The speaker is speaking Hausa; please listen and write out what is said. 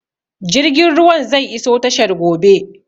Jirgin ruwan zai iso tashar gobe